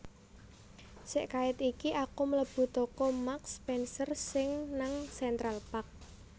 Sek kaet iki aku mlebu toko Marks Spencer sing nang Central Park